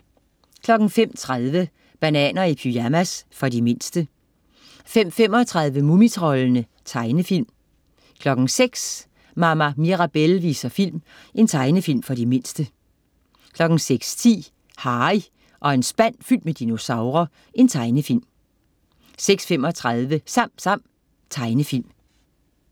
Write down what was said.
05.30 Bananer i pyjamas. For de mindste 05.35 Mumitroldene. Tegnefilm 06.00 Mama Mirabelle viser film. Tegnefilm for de mindste 06.10 Harry og en spand fyldt med dinosaurer. Tegnefilm 06.35 SamSam. Tegnefilm